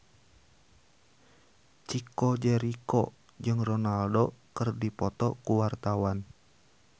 Chico Jericho jeung Ronaldo keur dipoto ku wartawan